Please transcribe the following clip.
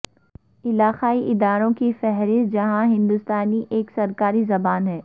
علاقائی اداروں کی فہرست جہاں ہندوستانی ایک سرکاری زبان ہے